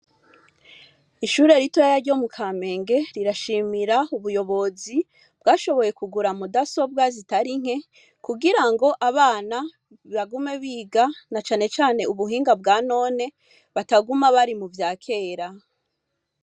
Ishure ritoyi ryo mu Kamenge rirashimira ubuyobozi bwashoboye kugura mudasobwa zitari nke kugira ngo abana bagume biga, na cane cane ubuhinga bwa none, bataguma bari muvya kera.